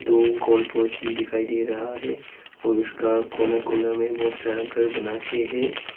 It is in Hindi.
दो गोल पोस्ट भी दिखाई दे रहा है और उसका कोने कोने में बहुत सारा घर बना के है।